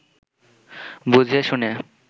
বুঝিয়ে শুনিয়ে